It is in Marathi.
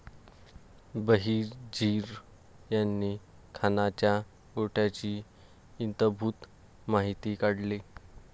बहिर्जी यांनी खानाच्या गोटाची इतंभूत माहिती काढली.